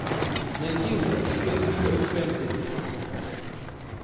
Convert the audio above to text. найди лучшие фильмы фэнтези